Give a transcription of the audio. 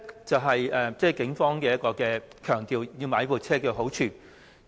這是警方強調購買這些車輛的好處。